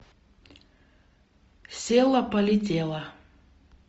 села полетела